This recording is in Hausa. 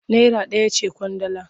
Naira ɗaya ce ƙwandala.